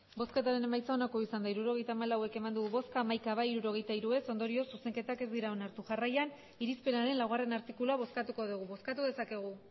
hirurogeita hamalau eman dugu bozka hamaika bai hirurogeita hiru ez ondorioz zuzenketak ez dira onartu jarraian irizpenaren laugarrena artikulua bozkatuko dugu bozkatu dezakegu